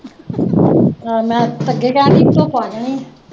ਅਹ ਮੈਂ ਅੱਗੇ ਕਹਿਣ ਡਈ ਸੀ, ਧੁੱਪ ਕੱਢਣੀ